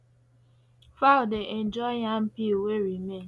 fowl dey enjoy yam peel wey remain